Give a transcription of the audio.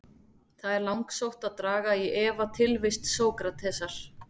Það er langsótt að draga í efa tilvist Sókratesar.